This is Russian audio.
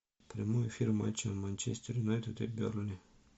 прямой эфир матча манчестер юнайтед и бернли